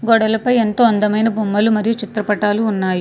గోడలపై ఎంతో అందమైన బొమ్మలు మరియు చిత్రపటాలు ఉన్నాయి.